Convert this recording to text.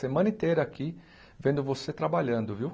Semana inteira aqui vendo você trabalhando, viu?